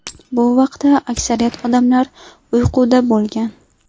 Bu vaqtda aksariyat odamlar uyquda bo‘lgan.